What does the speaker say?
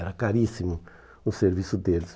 Era caríssimo o serviço deles.